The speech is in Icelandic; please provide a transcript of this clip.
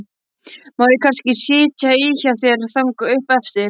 Má ég kannski sitja í hjá þér þangað upp eftir?